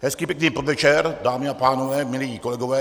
Hezký pěkný podvečer, dámy a pánové, milí kolegové.